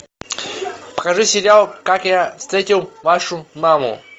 покажи сериал как я встретил вашу маму